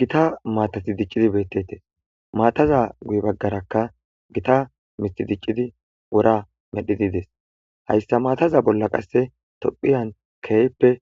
Gita maatati dicqidi beettettes. Maataza guye baggaraka gita mithi dicciqidi wora medhidi des. Hayssa maataza bolla qasse tophiyan keeyppe